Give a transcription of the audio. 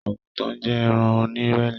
Agútàn jẹ́ ẹ̀ran ọnírẹlẹ̀